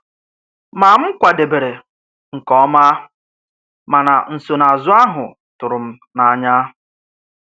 Ma m kwadèbèrè nkè ọma mànà nsonàazụ áhụ tụrụ m n’anya.